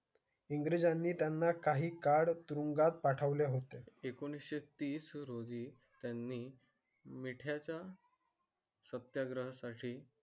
In क्रीज आणि त्यांना काही कार्ड तुरुंगात पाठवले होते. एकोणीसशे तीस रोजी. त्यांनी मी त्याचा. सत्याग्रह साठी.